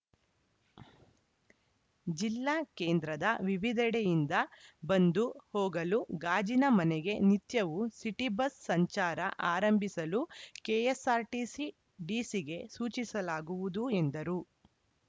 ಜಿಲ್ಲಾ ಕೇಂದ್ರದ ವಿವಿಧೆಡೆಯಿಂದ ಬಂದು ಹೋಗಲು ಗಾಜಿನ ಮನೆಗೆ ನಿತ್ಯವೂ ಸಿಟಿ ಬಸ್ಸು ಸಂಚಾರ ಆರಂಭಿಸಲು ಕೆಎಸ್ಸಾರ್ಟಿಸಿ ಡಿಸಿಗೆ ಸೂಚಿಸಲಾಗುವುದು ಎಂದರು